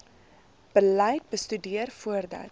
beleid bestudeer voordat